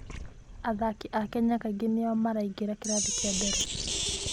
Athaki a Kenya kaingĩ nĩo maraingĩra kĩrathi kĩa mbere.